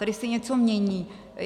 Tady se něco mění.